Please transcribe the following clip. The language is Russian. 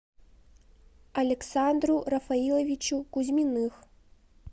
александру рафаиловичу кузьминых